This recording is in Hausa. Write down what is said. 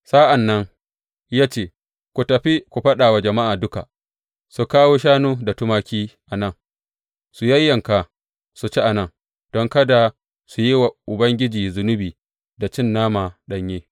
Sa’an nan ya ce, Ku tafi ku faɗa wa jama’a duka, su kawo shanu da tumaki a nan, su yayyanka, su ci a nan, don kada su yi wa Ubangiji zunubi da cin nama ɗanye.